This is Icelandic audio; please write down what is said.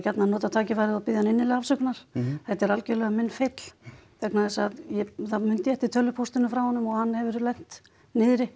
nota tækifærið og biðja hann innilega afsökunar þetta er algjörlega minn feill vegna þess að þá mundi ég eftir tölvupóstinum frá honum og hann hefur lent niðri